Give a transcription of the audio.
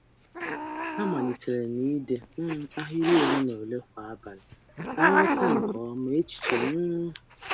M um malitere ide ahịrị ole um na ole kwa abalị iji um ghọta echiche m nke ọma.